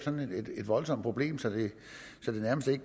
forcere